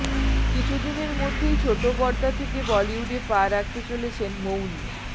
কিছুদিনের মধ্যেই ছোটপর্দা থেকে বলিউডে পা রাখতে চলেছেন মৌনী